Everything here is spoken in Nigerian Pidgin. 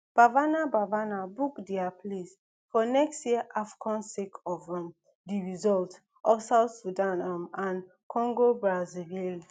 bafana bafana book dia place for next year afcon sake of um di result of south sudan um and congobrazzaville